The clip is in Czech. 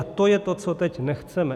A to je to, co teď nechceme.